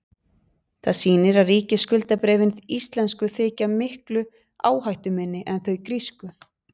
það sýnir að ríkisskuldabréfin íslensku þykja miklu áhættuminni en þau grísku